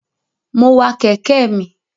Mo wa kẹ̀kẹ́ mi.